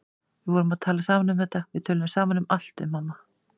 Við vorum að tala saman um þetta, við tölum saman um allt við mamma.